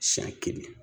Siɲɛ kelen